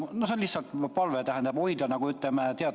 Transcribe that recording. See on lihtsalt palve, et teada, millal järjekord kellenigi jõuab.